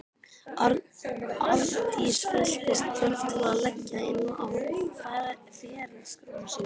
Arndís fylltist þörf til að leggja inn á ferilskrána sína.